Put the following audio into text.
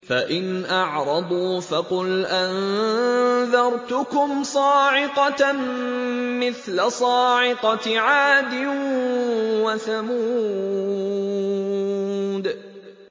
فَإِنْ أَعْرَضُوا فَقُلْ أَنذَرْتُكُمْ صَاعِقَةً مِّثْلَ صَاعِقَةِ عَادٍ وَثَمُودَ